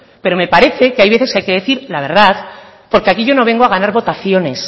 pero me parece que hay veces que hay que decir la verdad porque aquí yo no vengo a ganar votaciones